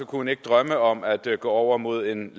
hun ikke drømme om at gå over mod en